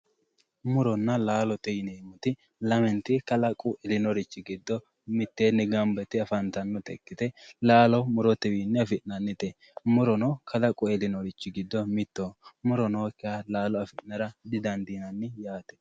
muronna laalote yineemmorichi lamenti kalaquminorichi mitteenni gamba yite afantannota ikkite laalo murotewiinni afi'nannite murono kalaqoho yineemmorichi giddo mittoho muro nookkiha laalo afi'nara didandiinanni